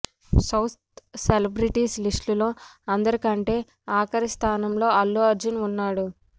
south celebrities లిస్ట్లో అందరికంటే ఆఖరి స్థానంలో అల్లు అర్జున్ ఉన్నాడు